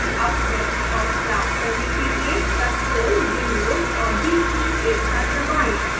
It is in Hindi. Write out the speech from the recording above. अब desktop प्राप्त करने के लिए ctrl windows और d कीज एक साथ दबाएं